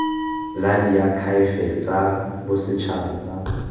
la diakhaefe tsa bosetšhaba tsa